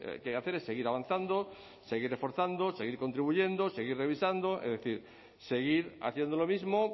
que hacer es seguir avanzando seguir reforzando seguir contribuyendo seguir revisando es decir seguir haciendo lo mismo